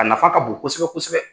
A nafa ka bon kosɛbɛ kosɛbɛ.